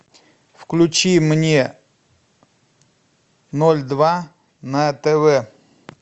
включи мне ноль два на тв